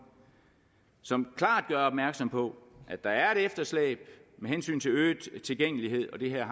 som klart gør opmærksom på at der er et efterslæb med hensyn til øget tilgængelighed og det her